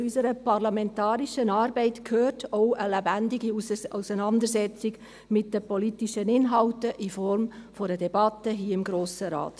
Denn zu unserer parlamentarischen Arbeit gehört auch eine lebendige Auseinandersetzung mit den politischen Inhalten in Form einer Debatte hier im Grossen Rat.